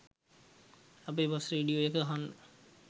අපේ bus radio එක අහන්න